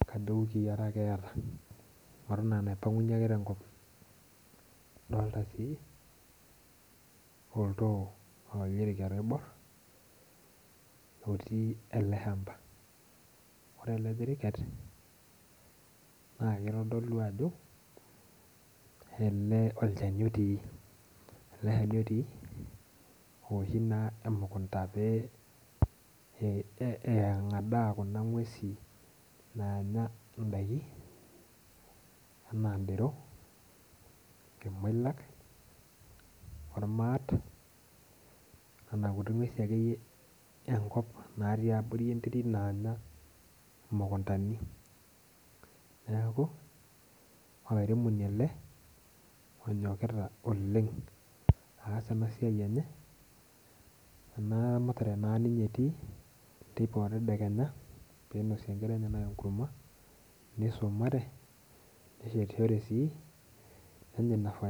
etaa duo iwiki are ake eeta eton aa enaipang'unyie ake tenkop adolta sii oltoo loomkamirika loiborr etii ele shamba ore ele kiriket naakitodolu ajo olchani otii naa ooshi emukunta pee eng'adaa kuna nguesin naanya ndaiki enaa ndero irmoilak ormaat nena kurt akeyie naatii abori enterit naanya imukuntani neeku olairemoni ele onyokita oleng' aas ena siai enye amu eramatare naa ninye etii teipa otedekenya pee inosie nkera enyenak enkurma nisumare neesishore sii nenya ina faida.